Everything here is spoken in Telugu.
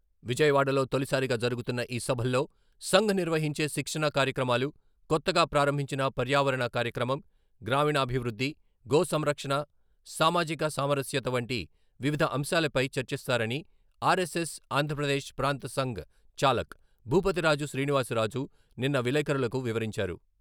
విజయవాడలో తొలిసారిగా జరుగుతున్న ఈ సభల్లో సంఘ్ నిర్వహించే శిక్షణా కార్యక్రమాలు, కొత్తగా ప్రారంభించిన "పర్యావరణ" కార్యక్రమం, గ్రామీణాభివృద్ధి, గో సంరక్షణ, సామాజిక సామరస్యత వంటి వివిధ అంశాలపై చర్చిస్తారని ఆర్ఎస్ఎస్ ఆంధ్రప్రదేశ్ ప్రాంత సంఘ చాలక్, భూపతిరాజు శ్రీనివాసరాజు నిన్న విలేకరులకు వివరించారు.